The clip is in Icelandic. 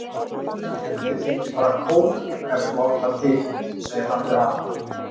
Ég held ég þiggi bara kók ef þú átt það til, segir hann við hana.